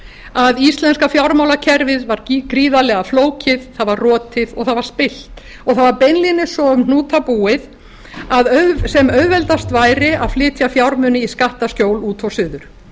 að íslenska fjármálakerfið var gríðarlega flókið það var rotið og það var spillt það var beinlínis svo um hnúta búið að sem auðveldast væri að flytja fjármuni í skattaskjól út og suður